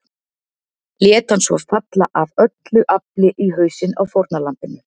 Lét hann svo falla AF ÖLLU AFLI í hausinn á fórnarlambinu.